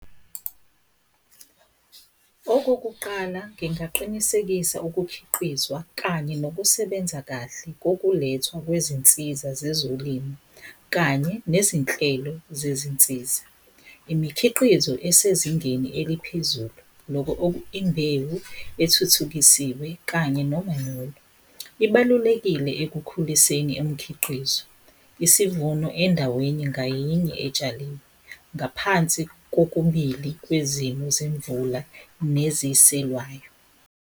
Okokuqala ngingaqinisekisa ukukhiqizwa kanye nokusebenza kahle kokulethwa kwezinsiza zezolimo kanye nezinhlelo zezinsiza, imikhiqizo esezingeni eliphezulu, imbewu ethuthukisiwe kanye nomanyolo. Ibalulekile ekukhuliseni imkhiqizo, isivuno endaweni ngayinye etshaliwe ngaphansi kokubili kwezimo zemvula neziselwayo.